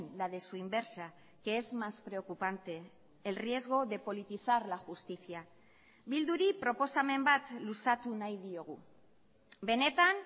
la de su inversa que es más preocupante el riesgo de politizar la justicia bilduri proposamen bat luzatu nahi diogu benetan